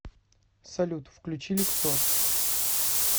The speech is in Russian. салют включи люксор